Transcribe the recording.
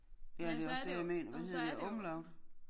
Ja det også det jeg mener hvad hedder det umlaut